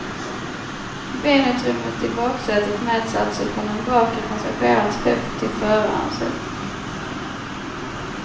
Benutrymmet i baksätet mäts alltså från den bakre passagerarens höft till förarens höft.